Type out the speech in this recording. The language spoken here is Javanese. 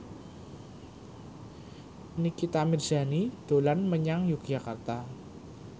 Nikita Mirzani dolan menyang Yogyakarta